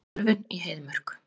Ölvun í Heiðmörk